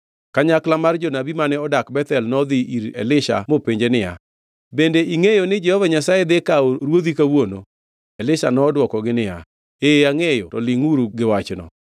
Kanyakla mar jonabi mane odak Bethel nodhi ir Elisha mopenje niya, bende ingʼeyo ni Jehova Nyasaye dhi kawo ruodhi kawuono? Elisha nodwokogi niya, ee angʼeyo, to lingʼuru gi wachno.